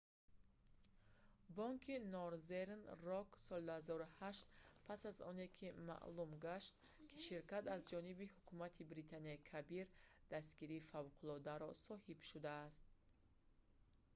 бонки норзерн рок соли 2008 пас аз оне ки маълум гашт ки ширкат аз ҷониби ҳукумати британияи кабир дастгирии фавқуллодаро соҳиб шудааст